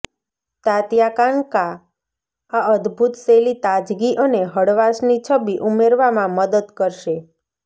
તાત્યાકાન્કા આ અદભૂત શૈલી તાજગી અને હળવાશની છબી ઉમેરવામાં મદદ કરશે